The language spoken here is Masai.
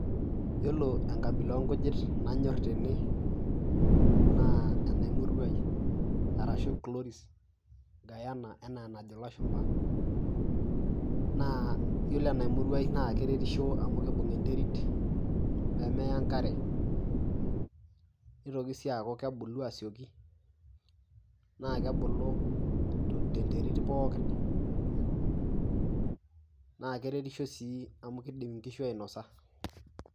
Iyiolo enkabila oonkujit nayor teene naa enaimuruai arashu chloris gayana enaa enajo ilashumba paue naa oore enaimurui naa keretisho amuu keibung enterit nemeya enkare neitoki sii aaku kebulu asioki naa kebulu tenterit pooki, naa keretisho sii amuu keidim inkishu ainosa.